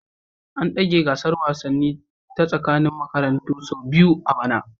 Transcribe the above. An dage gasar wasanni ta tsakanin makarantu sau biyu a bana